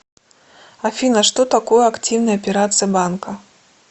афина что такое активные операции банка